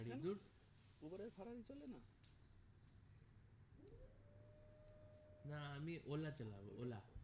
না আমি ola চালাবো ola